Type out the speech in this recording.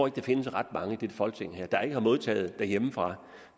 at der findes ret mange i dette folketing der ikke har modtaget noget derhjemmefra